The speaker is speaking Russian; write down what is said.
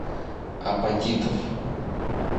апатитов